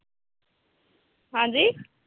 ਹਾਂਜੀ